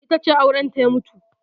Ita ce aurenta ya mutu.